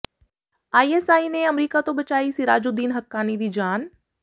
ISI ਨੇ America ਤੋਂ ਬਚਾਈ ਸਿਰਾਜੂਦੀਨ ਹੱਕਾਨੀ ਦੀ ਜਾਨ